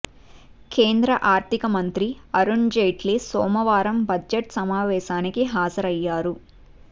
కేంద్ర ఆర్థిక మంత్రి అరుణ్జైట్లీ సోమవారం బడ్జెట్ సమా వేశానికి హాజరయ్యారు